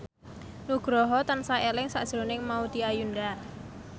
Nugroho tansah eling sakjroning Maudy Ayunda